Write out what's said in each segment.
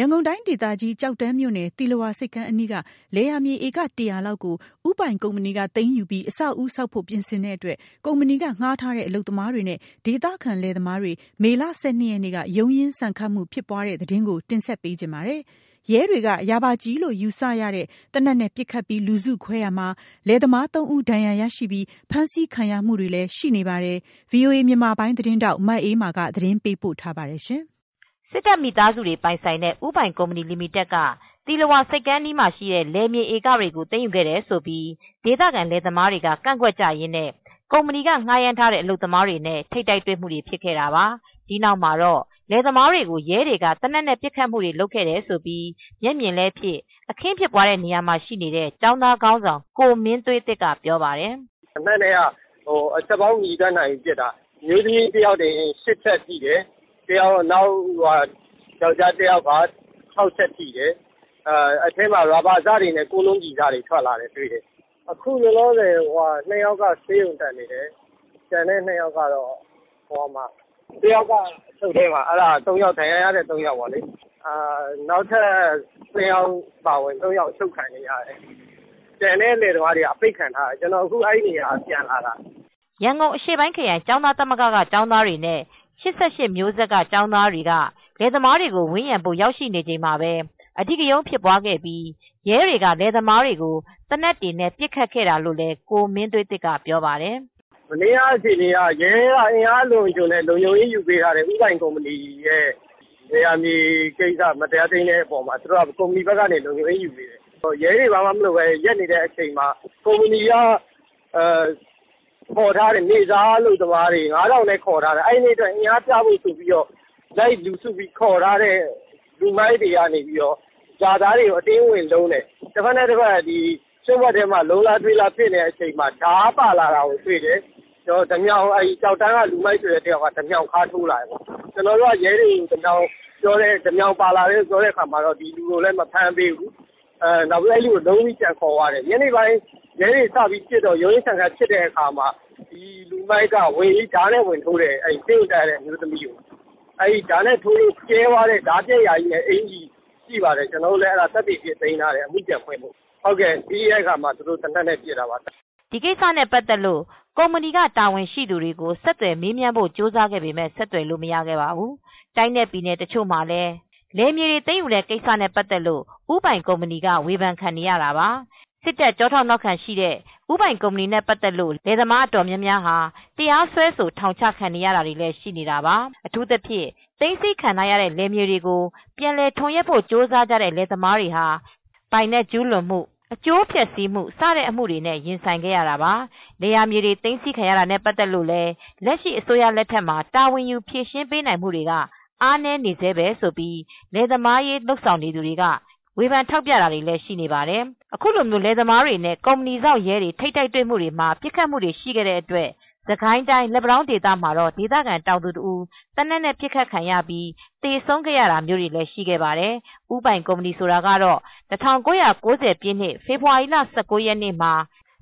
ရန်ကုန်တိုင်းဒေသကြီး ကျောက်တန်းမြို့နယ် သီလဝါဆိပ်ကမ်းအနီးက လယ်ယာမြေဧက ၁၀၀လောက်ကို ဦးပိုင်ကုမ္ပဏီကသိမ်းယူပြီး အဆောက်အဦးဆောက်ဖို့ ပြင်ဆင်တဲ့အတွက် ကုမ္ပဏီကဌားထားတဲ့အလုပ်သမားတွေနဲ့ ဒေသခံလယ်သမားတွေ မေလ ၁၂ရက်နေ့ က ရုန်းရင်းဆန်ခတ်မူဖြစ်ပွားခဲ့ပါတယ်။ ရဲတွေက ရာဘာကျည်လို့ ယူဆရတဲ့ သေနတ်နဲ့ ပစ်ခတ်ပြီး လူစုခွဲရာမှာ လယ်သမား၃ဦး ဒဏ်ရာတွေရရှိပြီး ဖမ်းဆီးခံရမူတွေလည်းရှိနေပါတယ် ။ ထိုင်းအခြေစိုက် VOA သတင်းထောက် မအေးအေးမာက သတင်းပေးပို့ ထားပါတယ်။ စစ်တပ်မိသားစုပိုင် ဦးပိုင်ကုမ္ပဏီက သီလဝါဆိပ်ကမ်းအနီးမှာရှိတဲ့လယ်မြေဧကတွေကို သိမ်းယူခဲ့တယ်ဆိုပြီးဒေသခံလယ်သမားတွေက ကန့်ကွက်ကြရင်းနဲ့ ကုမ္ပဏီက ဌားရမ်းထားတဲ့ အလုပ်သမားတွေနဲ့ ထိပ်တိုက်တွေ့မူတွေဖြစ်ခဲ့တာပါ။ ဒီနောက်မှာတော့လယ်သမားတွေကို ရဲတွေကသေနတ်နဲ့ ပစ်ခတ်မူတွေလုပ်ခဲ့တယ်လို့ မျက်မြင်လည်းဖြစ် အခင်းဖြစ်ပွားတဲ့နေရာမှာရှိနေတဲ့ ကျောင်းသားခေါင်းဆောင်ကိုမင်းသွေးသစ်ကပြောပါတယ်။ "သေနတ်နဲ့က အချက်ပေါင်းမရေတွက်နိုင်ဘူး ပစ်တာ ။ အမျိုးသမီးတယောက်တင် ၈ချက်ထိတယ် ယောင်္ကျားတယောက်က ၆ချက်ထိတယ်။ အထဲမှာရာဘာစတွေနဲ့ ကိုးလုံးကျည်စတွေထွက်လာတယ်တွေ့တယ်။ အခုလောလောဆည် ၂ယောက်က ဆေးရုံတက်နေတယ်၊ကျန်တဲ့တယောက်က အချုပ်ထဲမှာ။ အဲဒါက ဒဏ်ရာရတဲ့ ၃ယောက် ပေါ့လေ နောက်ထပ် ၂ယောက်အပါအဝင် ၃ယောက်အချုပ်ခံနေရတယ်။ ကျန်တဲ့လယ်သမားတွေကအပိတ်ခံရတယ် ကျနော် အခု အဲဒီနေရာကနေ ပြန်လာတာ" ရန်ကုန်အရှေ့ပိုင်းခရိုင်ကျောင်းသားသမဂ္ဂ ကကျောင်းသားတွေနဲ့ ၈၈မျိုးဆက်က ကျောင်းသားတွေက လယ်သမားတွေကိုဝန်းရံဖို့ရောက်ရှိနေချိန်မှာပဲ အဓိကရုန်းဖြစ်ပွားခဲ့ပြီး ရဲတွေက လယ်သမားတွေကို သေနတ်တွေနဲ့ ပစ်ခတ်ခဲ့တာလည်းလို့လည်းကိုမင်းသွေးသစ်က ဆိုပါတယ်။ "ရဲက အင်အားအလွန်အကျွံနဲ့ ကုမ္ပဏီ လုံခြုံရေးယူပေးထားတယ် ဦးပိုင်ကုမ္ပဏီဘက်ကနေ လယ်ယာသိမ်းတဲ့ကိစ္စမှာ မတရားသိမ်းတဲ့အပေါ်မှာသူတိုက လုံခြုံရေးယူထားပေးတယ်။ ရဲတွေကဘာမှမလုပ်သေးတဲ့ အချိန်မှာ ကုမ္ပဏီဘက်ခေါ်ထားတဲ့ နေစားအလုပ်သမားတွေ အင်အားပြဖို့ခေါ်ထားတဲ့လူမိုက်တွေကနေ ရွာသားတွေကို အတင်းဝင်လုံးတယ်။ တဖက်နဲ့ တဖက် ရွံဗွက်ထဲမှာ ဝင်လုံးတဲ့အချိန် လုံးလားထွေးလားဖြစ်နေချိန်မှာ ဓါးပါလာတာတွေ့တယ်။ ကျောက်တန်းက လူမိုက်က ဓါးေမြှာင် ထားတာတွေ့တယ်။ ကျနော်တိုက ရဲတွေကို ဓါးပါလာတယ်ပြောတာ မဖမ်းပေးဘူးနောက်ပိုင်းလုံးပြီးပြန်ခေါ်သွားတယ်။ ညနေပိုင်းမှာ ရုန်းရင်းဆန်ခတ်ဖြစ်တဲ့အချိန်မှာ လူမိုက်က အမျိုးသမီးတဦးကို ဓါးနဲ့ ဝင်ထိုးတယ်။ ဆေးရုံတက်ရတဲ့အမျိုးသမီးကို ဓါးနဲ့ဝင်ထိုးတော့ ပြဲသွားတဲ့အကျီလည်းရှိပါတယ်။ ကျနော်တို့ အမူပြန်ဖွင့်ဖို့ သိမ်းထားတယ်။ ပြီးတဲ့အခါမှာ သေနတ်နဲပစ်တော့တာပါပဲ။" ဒီကိစ္စနဲ့ ပတ်သက်လို့ကုမ္ပဏီက တာဝန်ရှိသူတွေကို ဆက်သွယ်မေးမြန်းဖို့ကြိုးစားခဲ့ပေမယ့် ဆက်သွယ်လို့မရခဲ့ပါဘူး။ တိုင်းနဲ့ပြည်နယ်တချို့မှာလည်း လယ်ယာမြေတွေသိမ်းယူတဲ့ကိစ္စနဲ့ ပတ်သက်လို့ဦးပိုင်ကုမ္ပဏီက ဝေဖန်ခံနေရတာပါ။ စစ်တပ်ကျောထောက်နောက်ခံရှိတဲ့ ဦးပိုင်ကုမ္ပဏီနဲ့ ပတ်သက်ပြီး လယ်သမားအတော်များများက တရားစွဲဆို ထောင်ချခံနေရတာတွေလည်းရှိနေတာပါ။ အထူးသဖြင့် သိမ်းဆည်းခံရတဲ့လယ်ယာမြေတွေကို ပြန်လည်ထွန်ယက်ဖို့ ကြိုးစားတဲ့ လယ်သမားတွေဟာ ပိုင်နက်ကျုးလွန်မူ ၊ အကျိုးဖျက်ဆီးမူတွေနဲ့ အမူတွေရင်ဆိုင်ခဲ့ရတာပါ ။ လယ်ယာမြေတွေသိမ်းဆည်းခံရတာနဲပတ်သက်လု့ိလည်း လက်ရှိအစိုးရလက်ထက်မှာတာဝန်ယူဖြေရှင်းပေးနိုင်မူတွေကအားနည်းနေဆဲပဲလို့လယ်သမားရေးလုပ်ဆောင်နေသူတွေက ဝေဖန်ထောက်ပြမူတွေရှိနေပါတယ်။ အခုလိုမျိုးလယ်သမားတွေ ကုမ္ပဏီစောင့်ရဲတွေ ထိပ်တိုက်တွေ့မူတွေမှာ ပစ်ခတ်မူတွေရှိခဲ့တဲ့အတွက် စစ်ကိုင်းတိုင်းလက်ပံတောင်းဒေသမှာတော့ဒေသခံတောင်သူတဦး သေနတ်နဲ့ပစ်ခတ်လို့သေဆုံးခဲ့ရတာမျိုးတွေလည်းရှိခဲ့ပါတယ်။ ဦးပိုင်ကုမ္ပဏီဆိုတာကတော့ ၁၉၉၀ ပြည့်နှစ် ဖေဖော်ဝါရီလ ၁၉ ရက်နေ့မှာ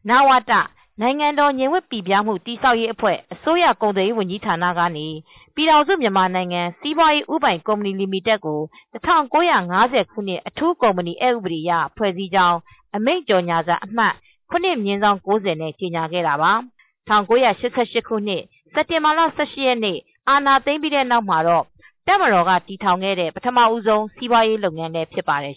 နဝတ (နိုင်ငံတော်ငြိမ်ဝပ်ပိပြားမှု တည်ဆောက် ရေးအဖွဲ့) အစိုးရ ကုန်သွယ်ရေးဝန်ကြီးဌာနက ပြည်ထောင်စုမြန်မာနိုင်ငံစီးပွားရေးဦးပိုင်လီမီတက် (The Union of Myanmar Economic Holdings Limited) ကို ၁၉၅၀ ခုနှစ် အထူးကုမ္ပဏီအက်ဥပဒေအရ ဖွဲ့စည်းကြောင်း အမိန့် ကြေညာစာ အမှတ် ၇/၉၀ ဖြင့် ကြေညာခဲ့ပါတယ်။ ၁၉၈၈ ခုနှစ် စက်တင်ဘာလ ရက်နေ့၊ အာဏာသိမ်းပြီး နောက်ပိုင်း တပ်မတော်ကတည်ထောင်ခဲ့တဲ့ ပထမဆုံးစီးပွားရေးလုပ်ငန်းလည်းဖြစ်ပါတယ်